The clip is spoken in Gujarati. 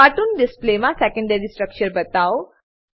કાર્ટૂન ડિસ્પ્લેમા સેકેન્ડરી સ્ટ્રક્ચર બતાઓ